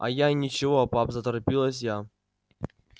а я и ничего пап заторопилась я